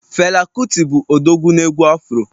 Fela kuti bụ odogwu na egwu Afro